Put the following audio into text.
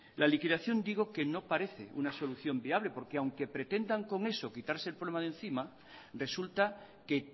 la liquidación digo que no parece una solución viable porque aunque pretendan con eso quitarse el problema de encima resulta que